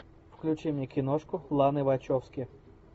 включи мне киношку ланы вачовски